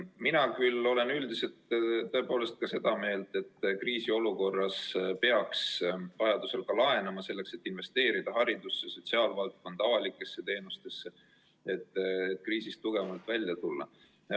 Mina küll olen üldiselt seda meelt, et kriisiolukorras peaks vajaduse korral ka laenama, selleks et investeerida haridusse, sotsiaalvaldkonda ja avalikesse teenustesse ning kriisist tugevamana välja tulla.